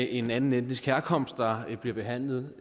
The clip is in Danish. en anden etnisk herkomst der bliver behandlet